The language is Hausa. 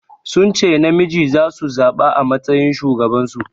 Sun ce namiji zasu zaɓa a matsayin shugaban su.